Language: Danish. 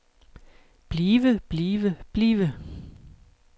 blive blive blive